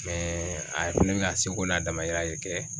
Mɛ a fɛnɛ be ka seko n'a dama yira de kɛ